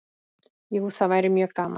Jú, það væri mjög gaman.